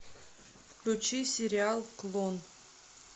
включи сериал клон